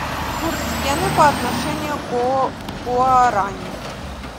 курс йены по отношению к гуарани